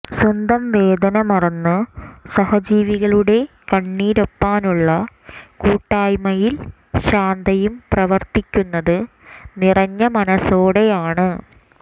സ്വന്തം വേദനമറന്ന് സഹജീവികളുടെ കണ്ണീരൊപ്പാനുള്ള കൂട്ടായ്മയിൽ ശാന്തയും പ്രവർത്തിക്കുന്നത് നിറഞ്ഞ മനസ്സോടെയാണ്